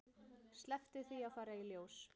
Slepptu því að fara í ljós.